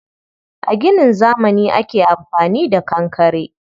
A ginin zamani ake amfani da kankare.